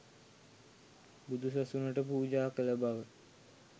බුදුසසුනට පූජා කළ බව